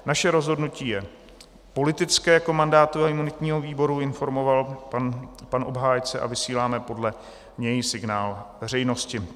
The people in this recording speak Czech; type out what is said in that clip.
Naše rozhodnutí je politické jako mandátového a imunitního výboru, informoval pan obhájce, a vysíláme podle něj signál veřejnosti.